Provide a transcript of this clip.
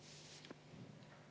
Eelnõu 486 on otsusena vastu võetud.